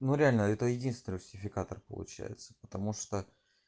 ну реально это единственный русификатор получается потому что